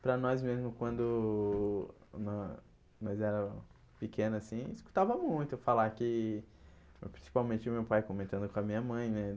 Para nós mesmo, quando nós era pequeno assim, escutava muito falar que... Principalmente meu pai comentando com a minha mãe, né?